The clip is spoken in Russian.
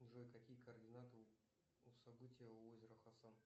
джой какие координаты у события у озера хасан